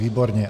Výborně.